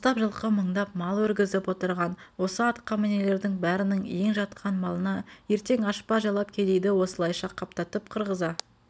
қостап жылқы мындап мал өргізіп отырған осы атқамінерлердің бәрінің ен жатқан малына ертең ашпа-жалап кедейді осылайша қаптатып қырғыза